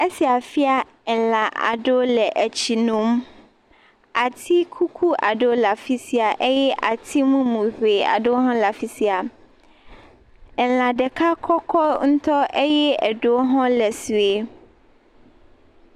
Esia fia elã aɖewo le etsi nom. Ati kuku aɖewo le afi sia eye ati mumu ŋee aɖewo hã le afi sia. Elã ɖeka kɔkɔ ŋutɔ eye aɖewo hã le sue